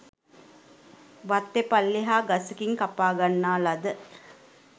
වත්ත පල්ලෙහා ගසකින් කපා ගන්නා ලද